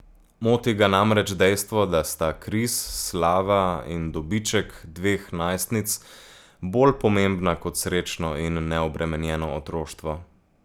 Moti ga namreč dejstvo, da sta Kris slava in dobiček dveh najstnic bolj pomembna kot srečno in neobremenjeno otroštvo.